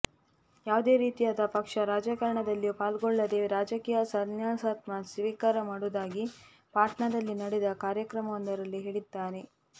ಯಾವುದೇ ರೀತಿಯಾದ ಪಕ್ಷ ರಾಜಕಾರಣದಲ್ಲಿಯೂ ಪಾಲ್ಗೊಳ್ಳದೇ ರಾಜಕೀಯ ಸನ್ಯಾಸತ್ವ ಸ್ವೀಕಾರ ಮಾಡುವುದಾಗಿ ಪಾಟ್ನಾದಲ್ಲಿ ನಡೆದ ಕಾರ್ಯಕ್ರಮವೊಂದರಲ್ಲಿ ಹೇಳಿದ್ದಾರೆ